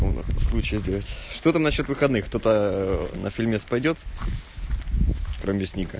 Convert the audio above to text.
случай что насчёт выходных то на фильме пойдёт про вестник